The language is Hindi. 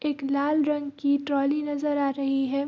एक लाल रंग की ट्राॅली नजर आ रही है।